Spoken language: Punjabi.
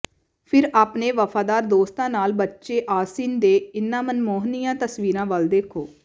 ਫਿਰ ਆਪਣੇ ਵਫ਼ਾਦਾਰ ਦੋਸਤਾਂ ਨਾਲ ਬੱਚੇ ਆਸਿਨ ਦੇ ਇਨ੍ਹਾਂ ਮਨਮੋਹਣੀਆਂ ਤਸਵੀਰਾਂ ਵੱਲ ਦੇਖੋ